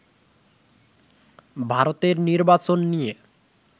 ভারতের নির্বাচন নিয়ে